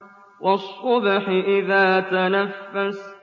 وَالصُّبْحِ إِذَا تَنَفَّسَ